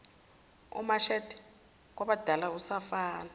umshade kwabadala usafana